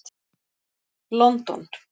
London